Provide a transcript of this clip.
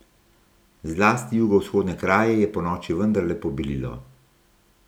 Zlasti jugovzhodne kraje je ponoči vendarle pobelilo.